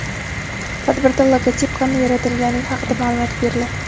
Tadbirda logotip qanday yaratilganligi haqida ma’lumot beriladi.